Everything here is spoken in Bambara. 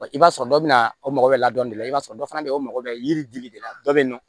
I b'a sɔrɔ dɔ bɛ na o mɔgɔ bɛ la dɔ de la i b'a sɔrɔ dɔ fana bɛ yen o mago bɛ yiri dili de la dɔ bɛ yen nɔ